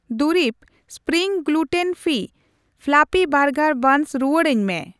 ᱫᱩᱨᱤᱵᱽ spring gluten free fluffy burger buns ᱨᱩᱣᱟᱲᱟᱧ ᱢᱮ ᱾